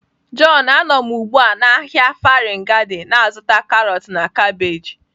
John, a nọ m ugbu a na ahịa Farin Gada na-azụta karọt na kabeeji.